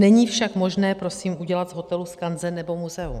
Není však možné prosím udělat z hotelu skanzen nebo muzeum.